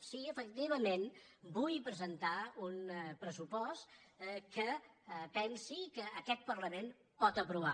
sí efectivament vull presentar un pressupost que pensi que aquest parlament pot aprovar